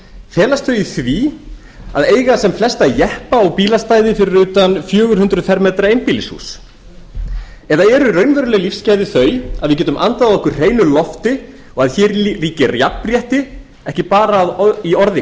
felast þau í því að eiga sem flesta jeppa og bílastæði fyrir utan fjögur hundruð fermetra einbýlishús eða eru raunveruleg lífsgæði þau að við getum andað að okkur hreinu lofti og að hér ríkir jafnrétti ekki bara í orði kveðnu að við